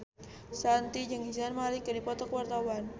Shanti jeung Zayn Malik keur dipoto ku wartawan